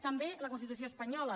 també la constitució espanyola